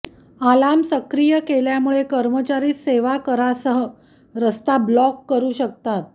alarm सक्रिय केल्यामुळे कर्मचारी सेवा कारसह रस्ता ब्लॉक करू शकतात